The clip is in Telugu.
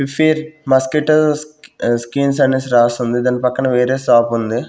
మాస్కీటోస్ ఆ సిన్క్స్ అనేసి రాసి ఉంది దాని పక్కన వేరే షాప్ ఉంది.